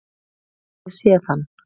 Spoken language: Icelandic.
Hef ég séð hann?